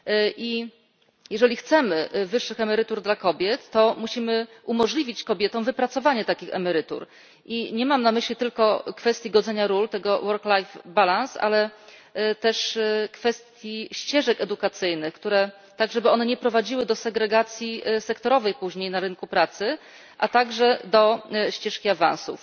I jeżeli chcemy wyższych emerytur dla kobiet, to musimy umożliwić kobietom wypracowanie takich emerytur, i nie mam na myśli tylko kwestii godzenia ról, tego work life balance, ale też kwestię ścieżek edukacyjnych, tak żeby one nie prowadziły do segregacji sektorowej później na rynku pracy, a także do ścieżki awansów.